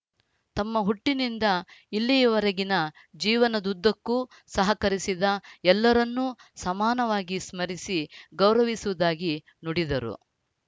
ತಮ್ಮ ಹುಟ್ಟಿನಿಂದ ಇಲ್ಲಿಯವರೆಗಿನ ಜೀವನದುದ್ದಕ್ಕೂ ಸಹಕರಿಸಿದ ಎಲ್ಲರನ್ನೂ ಸಮಾನವಾಗಿ ಸ್ಮರಿಸಿ ಗೌರವಿಸುವುದಾಗಿ ನುಡಿದರು